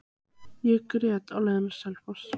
Ég grét á leiðinni á Selfoss.